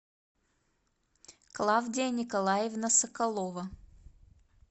клавдия николаевна соколова